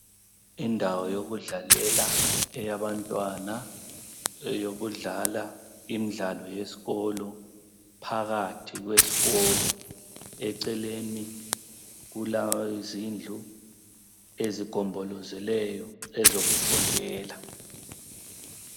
Indawo yokudlalela eyabantwana eyokudlala imidlalo yesikolo phakathi kwesikolo. Eceleni kulezindlu ezigombolezeleyo ezokufundela.